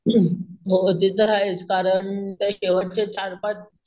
हम्म हो ते तर आहेच कारण ते शेवटचे चार पाच